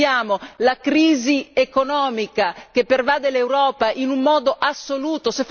Noi vediamo la crisi economica che pervade l'Europa in un modo assoluto.